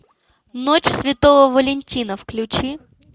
ночь святого валентина включи